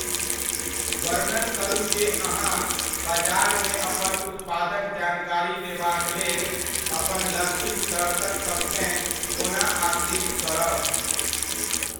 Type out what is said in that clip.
वर्णन करू जे अहाँ बजारमे अपन उत्पादक जानकारी देबाक लेल अपन लक्षित दर्शकसभकेँ कोना आकृष्ट करब।